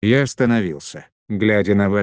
я остановился глядя на